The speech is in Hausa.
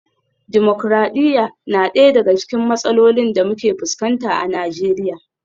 Dimokradiyya na daya daga cikin matsalolin da muke fuskanta a Najeriya